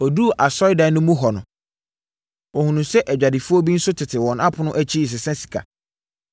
Ɔduruu asɔredan no mu hɔ no, ɔhunuu sɛ adwadifoɔ bi nso tete wɔn apono akyi resesa sika.